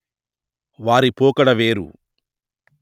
వారి పోకడ వేరు